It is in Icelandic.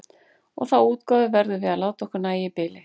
Og þá útgáfu verðum við að láta okkur nægja í bili.